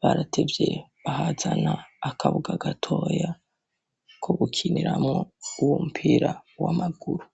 baratevye bahazana akabuga gatoya ko gukiniramwo uwo mupira w'amaguru.